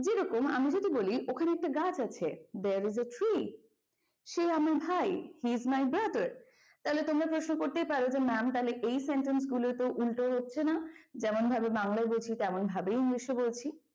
যেরকম আমি যদি বলি ওখানে একটা গাছ আছে there is a tree সে আমার ভাই he is my brother তাহলে তোমরা প্রশ্ন করতেই পারো যে mam তাহলে এই sentence গুলোয় তো উল্টো হচ্ছে না যেমনভাবে বাংলায় বলছি তেমনভাবেই english এ বলছি।